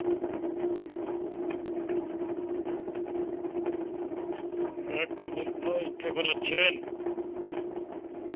হ্যাঁ কয়নান ভাই, কেমন আছেন?